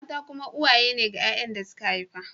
Mata kuma uwaye ne ga ‘ya’yan da suka haifa